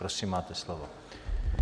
Prosím, máte slovo.